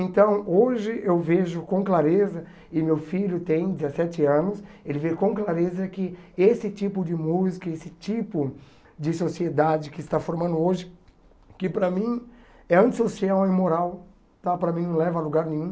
Então hoje eu vejo com clareza, e meu filho tem dezessete anos, ele vê com clareza que esse tipo de música, esse tipo de sociedade que está formando hoje, que para mim é antissocial, é imoral, tá para mim não leva a lugar nenhum.